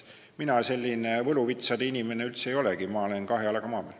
Mina selline võluvitsade inimene üldse ei olegi, ma olen kahe jalaga maa peal.